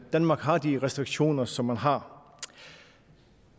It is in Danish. danmark har de restriktioner som man har